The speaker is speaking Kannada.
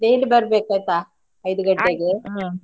Daily ಬರ್ಬೇಕು ಆಯ್ತಾ ಐದು ಗಂಟೆಗೆ .